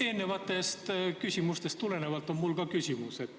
Eelnevatest küsimustest tulenevalt on mul ka küsimus.